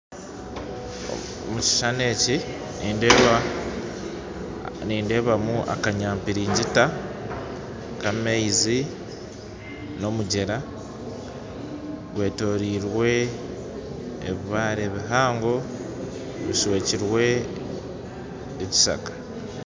Mu kishushani eki nindebamu akanyampiringita k'amaizi n'omugyera gwetorirwe ebibare bihango bishwekirwe ekishaka